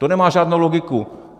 To nemá žádnou logiku.